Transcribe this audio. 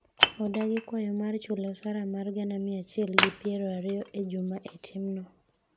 odagi kwayo mar chule osara mar gana mia achiel gi piero ariyo e juma e timno